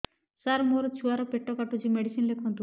ସାର ମୋର ଛୁଆ ର ପେଟ କାଟୁଚି ମେଡିସିନ ଲେଖନ୍ତୁ